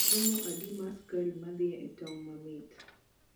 romo adi mar sukari madhie e tong mamait